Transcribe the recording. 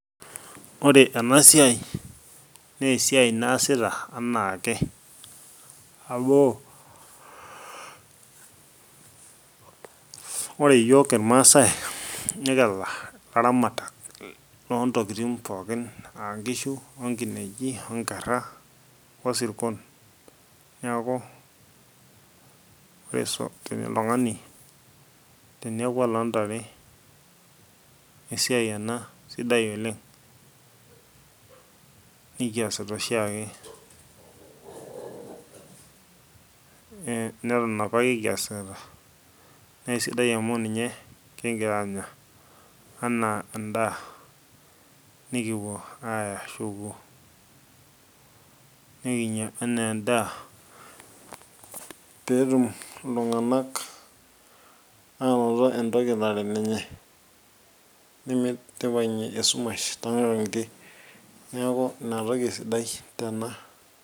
ore ena siai nesiai naasita anaake amuore iyiok irmasae nikira ilaramatak lontokitin pookin ankishu onkineji onkerra osirkon niaku ore so teni oltung'ani teneeku oloontare esiai ena sidai oleng nikiasita oshiake eh neton apake kiasita naa eisidai amu ninye kingira aanya anaa endaa nikipuo aya shukuu nikinyia enaa endaa peetum iltung'anak anoto entoki nara enenye nimid nipang'ie esumash tonkang'itie neeku inatoki esidai tena.